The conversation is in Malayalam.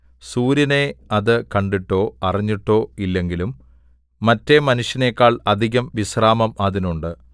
സൂര്യനെ അത് കണ്ടിട്ടോ അറിഞ്ഞിട്ടോ ഇല്ലെങ്കിലും മറ്റേ മനുഷ്യനെക്കാൾ അധികം വിശ്രാമം അതിനുണ്ട്